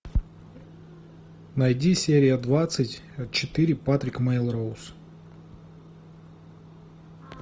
найди серия двадцать четыре патрик мелроуз